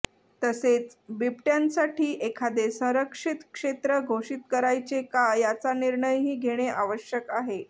तसेच बिबटय़ांसाठी एखादे संरक्षित क्षेत्र घोषित करायचे का याचा निर्णयही घेणे आवश्यक आहे